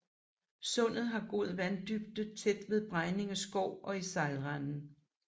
Sundet har god vanddybde tæt ved Bregninge Skov og i sejlrenden